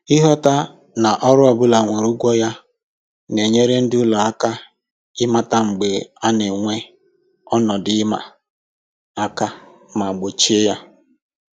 Ịghọta na ọrụ ọbụla nwere ugwu ya na-enyere ndị ụlọ aka ịmata mgbe a na-enwe ọnọdụ ịma aka ma gbochie ya